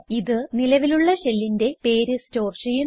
ഇത് നിലവിലുള്ള ഷെല്ലിന്റെ പേര് സ്റ്റോർ ചെയ്യുന്നു